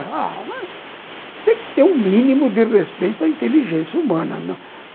Tem que ter um mínimo de respeito à inteligência humana.